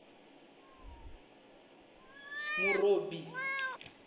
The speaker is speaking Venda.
murobi